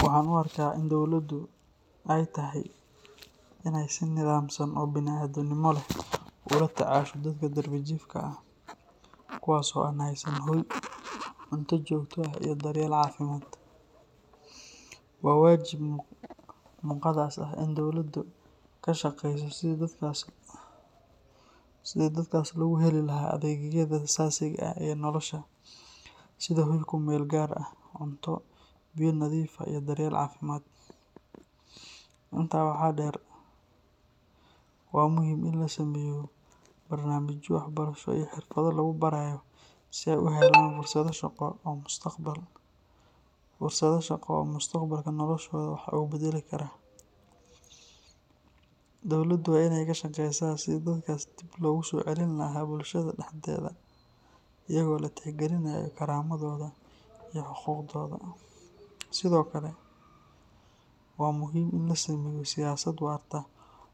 Waxaan u arkaa in dowladdu ay tahay in ay si nidaamsan oo bani’aadamnimo leh ula tacaasho dadka darbi jiifka ah, kuwaas oo aan haysan hoy, cunto joogto ah iyo daryeel caafimaad. Waa waajib muqadas ah in dowladdu ka shaqeyso sidii dadkaas loogu heli lahaa adeegyada aasaasiga ah ee nolosha, sida hoy ku meel gaar ah, cunto, biyo nadiif ah iyo daryeel caafimaad. Intaa waxaa dheer, waa muhiim in la sameeyo barnaamijyo waxbarasho iyo xirfado lagu barayo si ay u helaan fursado shaqo oo mustaqbalka noloshooda wax uga beddeli kara. Dowladdu waa inay ka shaqeysaa sidii dadkaas dib loogu soo celin lahaa bulshada dhexdeeda iyadoo la tixgelinayo karaamadooda iyo xuquuqdooda. Sidoo kale, waa muhiim in la sameeyo siyaasad waarta